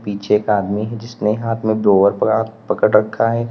पीछे एक आदमी है जिसने हाथ में ब्लोवर पड़ा पकड़ रखा है।